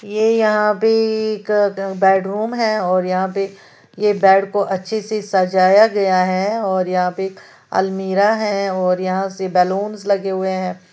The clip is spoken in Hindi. ये यहां पे एक क बेडरूम है और यहां पे ये बैड को अच्छे से सजाया गया है और यहां पे एक अलमीरा है और यहां से बलूंस लगे हुए हैं।